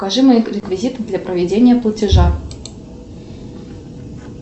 покажи мои реквизиты для проведения платежа